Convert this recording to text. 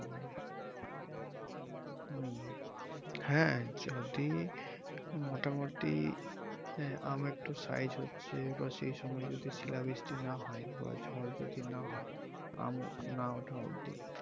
হু হ্যা যদি মোটামুটি হ্যা আম একটু size হচ্ছে ধর সেই সময় যদি শিলা বৃষ্টি না হয় বা ঝড় যদি না হয় আম না উঠা অবদি।